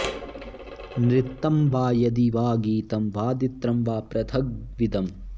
नृत्तं वा यदि वा गीतं वादित्रं वा पृथग्विधम्